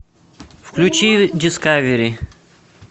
включи дискавери